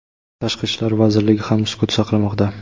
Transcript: Tashqi ishlar vazirligi ham sukut saqlamoqda.